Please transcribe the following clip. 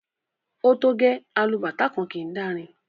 O to gẹ!, alubàtá kan kii dàrin.